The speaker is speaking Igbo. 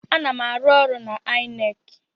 Ana m arụ ọrụ n'INEC.